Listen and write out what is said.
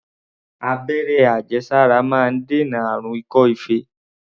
Abẹ́rẹ́ àjẹsára máa ń dènà àrùn ikọ́-ife.